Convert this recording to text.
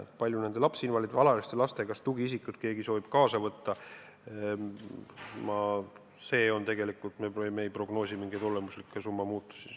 Selles, kui palju lapsinvaliidide ja alaealiste laste tugiisikuid soovitakse kaasa võtta, me ei prognoosi mingeid olemuslikke summade muutusi.